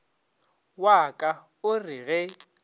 wa ka o re ge